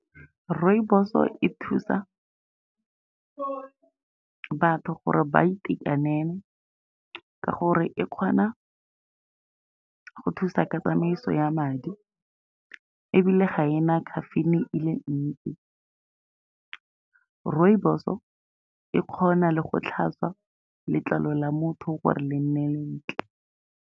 Rooibos-o e thusa batho gore ba itekanele, ka gore e kgona go thusa ka tsamaiso ya madi, ebile ga e na caffeine-e e le ntsi. Rooibos-o e kgona le go tlhatswa letlalo la motho gore le nne le ntle.